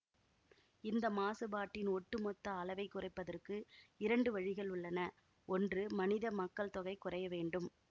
இந்த மாசுபாட்டின் ஒட்டுமொத்த அளவை குறைப்பதற்கு இரண்டு வழிகள் உள்ளன ஒன்று மனித மக்கள்தொகை குறைய வேண்டும்